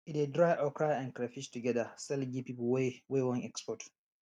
e dey dry okra and crayfish together sell give people wey wey wan export